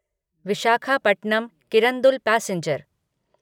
Visakhapatnam Kirandul passenger